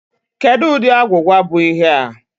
Kedụ ụdị agwụgwa bụ ihe a?